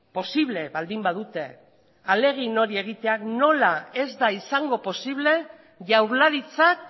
posible baldin badute ahalegin hori egitea nola ez da izango posible jaurlaritzak